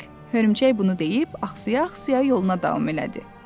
Hörümçək bunu deyib ağca ağca yoluna davam elədi.